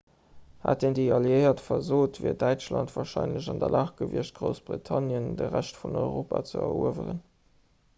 hätten déi alliéiert versot wier däitschland warscheinlech an der lag gewiescht groussbritannien an de rescht vun europa ze erueweren